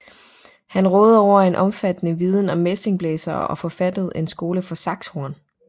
Han rådede over en omfattende viden om messingblæsere og forfattede en skole for saxhorn